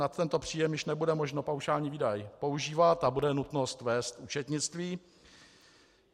Nad tento příjem již nebude možno paušální výdaj používat a bude nutnost vést účetnictví.